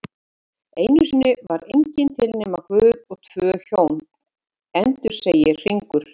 Einusinni var enginn til nema Guð og tvö Hjón, endursegir Hringur